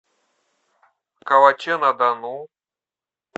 калаче на дону